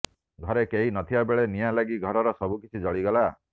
ଘରେ କେହି ନଥିବା ବେଳେ ନିଆଁ ଲାଗି ଘରର ସବୁକିଛି ଜଳିଗଲା